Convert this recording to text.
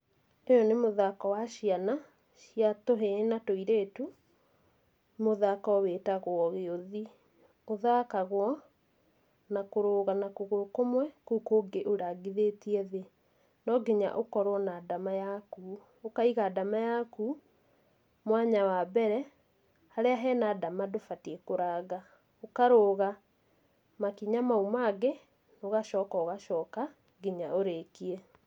Ũyũ nĩ mũthako wa ciana cia tũhĩĩ na tũirĩtu, mũthako wĩtagwo gĩũthi. Ũthakagwo na kũrũga na kũgũrũ kũmwe kũu kũngĩ ũrangithĩtie thĩ, no nginya ũkorwo na ndama yaku, ũkaiga ndama yaku mwanya wa mbere, harĩa hena ndama ndũbatie kũranga, ũkarũga makinya mau mangĩ ũgacoka ũgacoka nginya ũrĩkie.